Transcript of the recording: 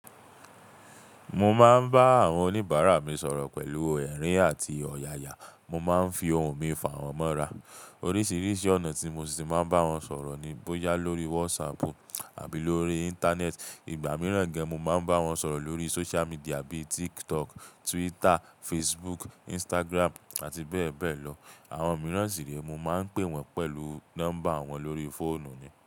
Mo máa ń bá àwọn oníbàárà mi sọ̀rọ̀ pẹ̀lú ẹ̀rín àti ọ̀yàyà, mo máa ń fi ohùn mi fa wọn mọ́ra. Oríṣiríṣi ọ̀nà tí mo ṣì máa ń bá wọn sọ̀rọ̀ ni bóyá lórí WhatsApp àbí lórí Íńtánẹ́ẹ̀tì. Ìgbà mìíràn gẹ́gẹ́ mo máa ń bá wọn sọ̀rọ̀ lórí social media bí TikTok, Twitter, Facebook, Instagram àti bẹ́ẹ̀ bẹ́ẹ̀ lọ. Àwọn mìíràn sì re, mo máa ń pè wọ́n pẹ̀lú nọ́mbà wọn lórí fóònù ni.